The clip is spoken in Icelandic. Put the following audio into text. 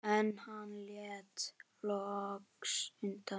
En hann lét loks undan.